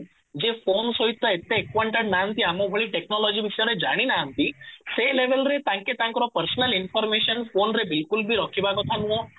ଯେ ଫୋନ ସହିତ ଏତେ acquainted ନାହାନ୍ତି ଆମ ଭଳି ଟେକ୍ନୋଲୋଜି ବିଷୟରେ ଜାଣିନାହାନ୍ତି ସେ level ରେ ତାଙ୍କେ ତାଙ୍କର personal information ଫୋନ ରେ ବିଲକୁଲ ବି ରଖିବା କଥା ନୁହଁ ଫୋନ କୁ just use କରିବା ଦରକାର